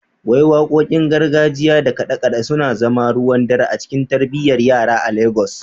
Wai Wakokin gargajiya da kade-kade sun zama ruwan dare a cikin tarbiyyar yara a Legas?